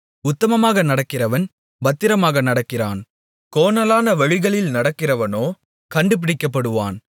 உத்தமமாக நடக்கிறவன் பத்திரமாக நடக்கிறான் கோணலான வழிகளில் நடக்கிறவனோ கண்டுபிடிக்கப்படுவான்